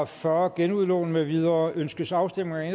fyrre genudlån med videre ønskes afstemning